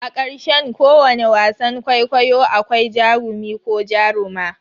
A ƙarshen ko wane wasan kwaikwayo akwai jarumi ko jaruma.